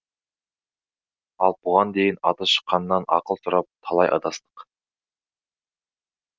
ал бұған дейін аты шыққаннан ақыл сұрап талай адастық